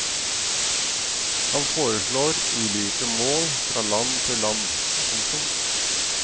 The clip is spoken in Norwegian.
Han foreslår ulike mål fra land til land. punktum